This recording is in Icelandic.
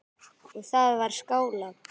Og það var skálað.